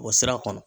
O sira kɔnɔ